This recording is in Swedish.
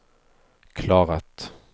klarat